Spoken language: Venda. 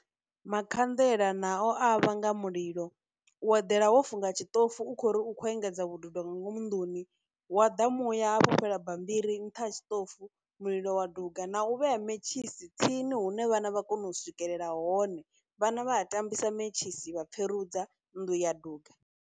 Makhanḓela nao a vhanga mulilo, u badela wo funga tshiṱofu u khou uri u kho engedza vhududo nga ngomu nnḓuni, hu wa ḓa muya ha fhufhela bambiri nṱha ha tshiṱofu mulilo wa duga, na u vhea mentshisi tsini hune vhana vha kona u swikelela hone, vhana vha a tambisa mentshisi vha pfherudza nnḓu ya duga.